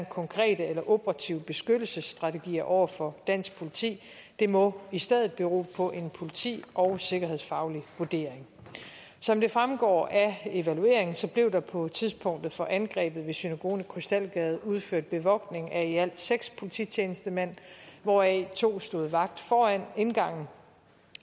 konkrete eller operative beskyttelsestrategier over for dansk politi det må i stedet bero på en politi og sikkerhedsfaglig vurdering som det fremgår af evalueringen blev der på tidspunktet for angrebet ved synagogen i krystalgade udført bevogtning af i alt seks polititjenestemænd hvoraf to stod vagt foran indgangen